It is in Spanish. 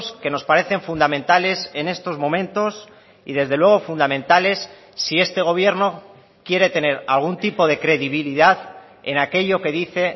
que nos parecen fundamentales en estos momentos y desde luego fundamentales si este gobierno quiere tener algún tipo de credibilidad en aquello que dice